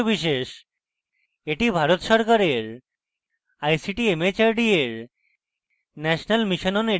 এটি ভারত সরকারের ict mhrd এর national mission on education দ্বারা সমর্থিত